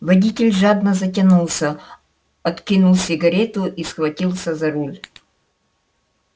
водитель жадно затянулся откинул сигарету и схватился за руль